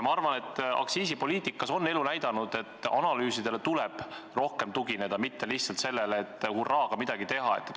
Minu arvates elu on näidanud, et aktsiisipoliitikas tuleb analüüsidele tugineda, mitte lihtsalt soovile hurraaga midagi ära teha.